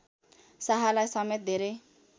शाहलाई समेत धेरै